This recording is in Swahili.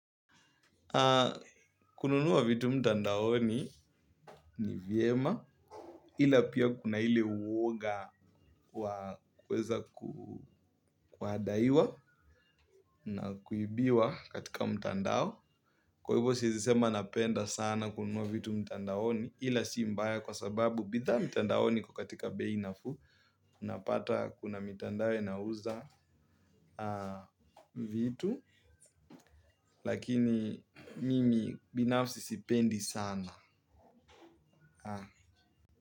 Kununua vitu mtandaoni ni vyema ila pia kuna hile uwoga wa kuweza kuhadaiwa na kuibiwa katika mtandao. Kwa hivyo siizisema napenda sana kununua vitu mtandaoni ila si mbaya kwa sababu bitha mtandaoni kukatika bei nafuu. Unapata kuna mitandao inauza vitu lakini mimi binafsi sipendi sana.